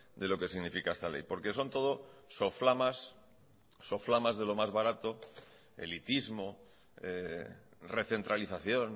de lo que significa esta ley porque son todo soflamas soflamas de lo más barato elitismo recentralización